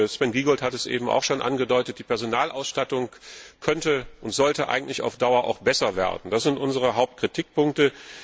Sven Giegold hat es eben schon angedeutet Die Personalausstattung könnte und sollte eigentlich auf Dauer besser werden. Das sind unsere Hauptkritikpunkte.